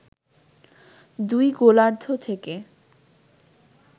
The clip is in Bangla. দুই গোলার্ধ থেকে